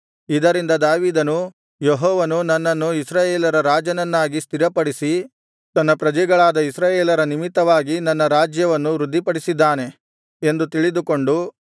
ಇದರಿಂದ ದಾವೀದನು ಯೆಹೋವನು ನನ್ನನ್ನು ಇಸ್ರಾಯೇಲರ ರಾಜನನ್ನಾಗಿ ಸ್ಥಿರಪಡಿಸಿ ತನ್ನ ಪ್ರಜೆಗಳಾದ ಇಸ್ರಾಯೇಲರ ನಿಮಿತ್ತವಾಗಿ ನನ್ನ ರಾಜ್ಯವನ್ನು ವೃದ್ಧಿಪಡಿಸಿದ್ದಾನೆ ಎಂದು ತಿಳಿದುಕೊಂಡನು